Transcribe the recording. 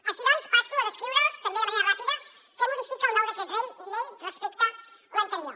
així doncs passo a descriure’ls també de manera ràpida què modifica el nou decret llei respecte a l’anterior